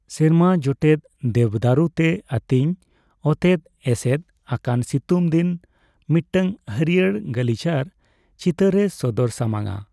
ᱥᱮᱨᱢᱟᱼᱡᱚᱴᱮᱫ ᱫᱮᱵᱽᱫᱟᱹᱨᱩ ᱛᱮ ᱟᱹᱛᱤᱧ ᱚᱛᱮᱛ ᱮᱥᱮᱫ ᱟᱠᱟᱱ ᱥᱤᱛᱩᱝ ᱫᱤᱱ ᱢᱤᱫᱴᱟᱝ ᱦᱟᱹᱨᱤᱭᱟᱹᱲ ᱜᱟᱞᱤᱪᱟᱨ ᱪᱤᱛᱟᱹᱨ ᱮ ᱥᱚᱫᱚᱨ ᱥᱟᱢᱟᱝᱼᱟ ᱾